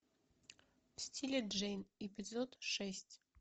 в стиле джейн эпизод шесть